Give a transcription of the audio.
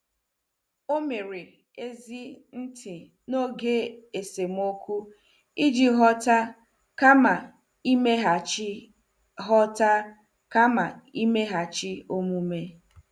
O mere ezi ntị n'oge esemokwu iji ghọta kama imeghachi ghọta kama imeghachi omume.